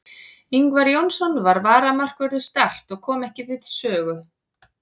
Ingvar Jónsson var varamarkvörður Start og kom ekki við sögu.